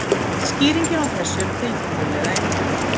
Skýringin á þessu er tiltölulega einföld.